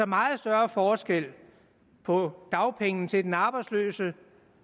meget større forskel på dagpengene til den arbejdsløse